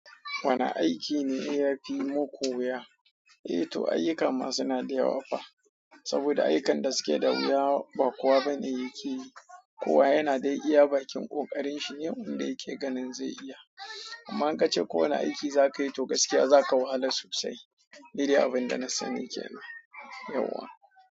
Wane aiki ne ya fi muku wuya? Eh to ayyuka ma suna da yawa fa, saboda aikan da suke da wuya ba kowa bane yake yi, kowa yana dai iya bakin ƙoƙarin shi ne wanda yake ganin zai iya. Amma in ka ce ko wane aiki za ka yi to gaskiya za ka wahala sosai. Ni dai abin da na sani ke nan yauwa.